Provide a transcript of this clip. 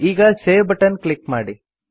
ಈಗ save button click ಮಾಡಿ